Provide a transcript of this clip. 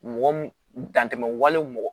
Mɔgɔ mun dantɛmɛ wale mɔgɔ